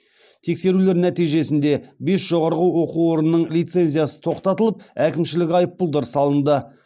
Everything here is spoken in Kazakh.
тексерулер нәтижесінде бес жоғары оқу орнының лицензиясы тоқтатылып әкімшілік айыппұлдар салынды